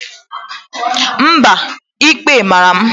Mba, ikpe mara m.